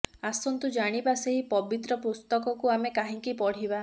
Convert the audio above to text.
ଆସନ୍ତୁ ଜାଣିବା ସେହି ପବିତ୍ର ପୁସ୍ତକକୁ ଆମେ କାହିଁକି ପଢ଼ିବା